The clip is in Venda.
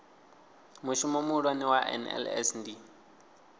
mushumo muhulwane wa nls ndi